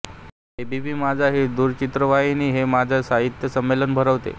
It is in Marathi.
ए बी पी माझा ही दूरचित्रवाहिनी हे माझा साहित्य संमेलन भरवते